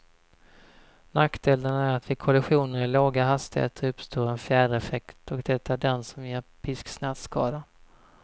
Nackdelen är att vid kollisioner i låga hastigheter uppstår en fjädereffekt, och det är den som ger pisksnärtskadan.